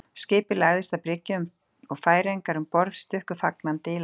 Skipið lagðist að bryggju og færeyingarnir um borð stukku fagnandi í land.